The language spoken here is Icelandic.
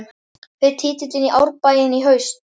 Fer titillinn í Árbæinn í haust?